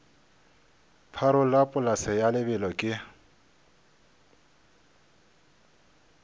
pharola polase ya lebelo ke